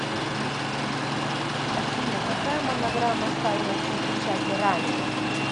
афина какая монограмма ставилась на печати ранее